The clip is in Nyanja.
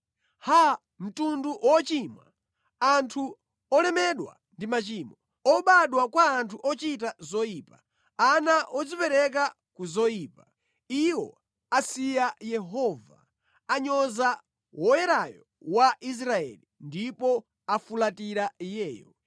Haa, mtundu wochimwa, anthu olemedwa ndi machimo, obadwa kwa anthu ochita zoyipa, ana odzipereka ku zoyipa! Iwo asiya Yehova; anyoza Woyerayo wa Israeli ndipo afulatira Iyeyo.